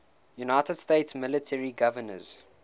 united states military governors